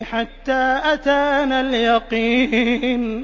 حَتَّىٰ أَتَانَا الْيَقِينُ